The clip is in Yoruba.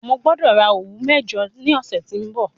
Mo gbọ́dọ̀ ra òwú mẹ́jọ ní ọ̀sẹ̀ tí ń bọ̀.